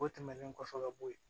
O tɛmɛnen kɔfɛ ka bɔ ye